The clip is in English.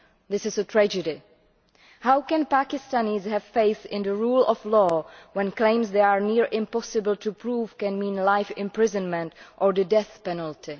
This is a tragedy. How can Pakistanis have faith in the rule of law when claims that are near impossible to prove can mean life imprisonment or the death penalty?